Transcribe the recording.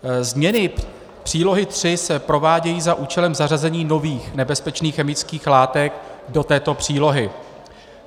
Změny přílohy III se provádějí za účelem zařazení nových nebezpečných chemických látek do této přílohy.